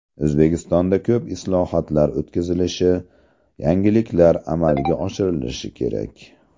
O‘zbekistonda ko‘p islohotlar o‘tkazilishi, yangilanishlar amalga oshirilishi kerak.